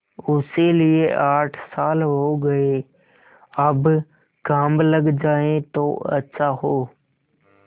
उसे लिये आठ साल हो गये अब काम लग जाए तो अच्छा हो